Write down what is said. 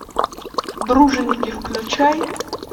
дружинники включай